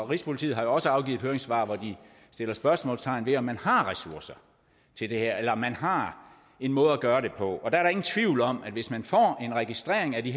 rigspolitiet har jo også afgivet et høringssvar hvor de sætter spørgsmålstegn ved om man har ressourcer til det her eller om man har en måde at gøre det på og der er ingen tvivl om at hvis man får en registrering af de